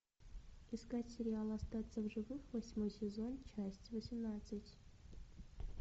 искать сериал остаться в живых восьмой сезон часть восемнадцать